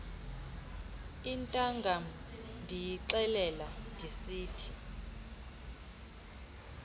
intangam ndiyixelela ndisithi